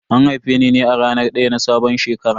An haife ni ne a ranar daya na sabon shekara.